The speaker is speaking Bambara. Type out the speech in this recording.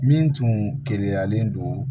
Min tun keleyalen don